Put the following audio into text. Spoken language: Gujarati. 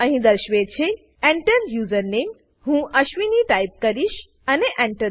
અહી દેશવે છે Enter username હું અશ્વિની ટાઈપ કરીશ અને Enter